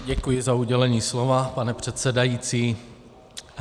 Děkuji za udělení slova, pane předsedající.